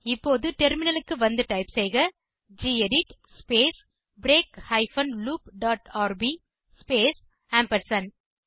இப்போது டெர்மினலுக்கு வந்து டைப் செய்க gedit space break hyphen loop dot RB space ampersand